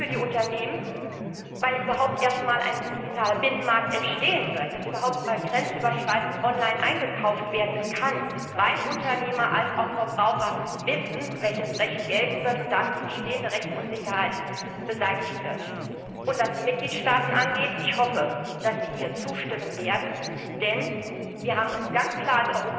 Es ist gut für die Unternehmen, dass überhaupt erst einmal ein digitaler Binnenmarkt entstehen wird, dass überhaupt einmal grenzüberschreitend online eingekauft werden kann, weil dann sowohl Unternehmer als auch Verbraucher wissen, welches Recht gelten wird, und damit die bestehende Rechtsunsicherheit beseitigt wird. Und was die Mitgliedstaaten angeht Ich hoffe, dass sie hier zustimmen werden, denn wir als Europaparlament haben uns ganz klar